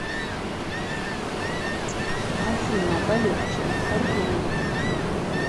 афина полегче артемьев